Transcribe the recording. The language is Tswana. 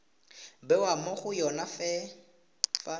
bewa mo go yone fa